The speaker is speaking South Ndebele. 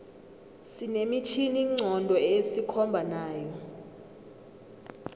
sine mitjhini nqondo esikhomba nayo